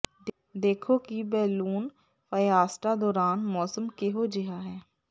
ਦੇਖੋ ਕਿ balloon fiesta ਦੌਰਾਨ ਮੌਸਮ ਕਿਹੋ ਜਿਹਾ ਹੈ